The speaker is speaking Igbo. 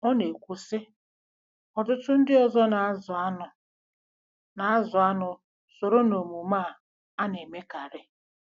Ọ na-ekwu, sị: “ Ọtụtụ ndị ọzọ na-azụ anụ na-azụ anụ soro n'omume a a na-emekarị.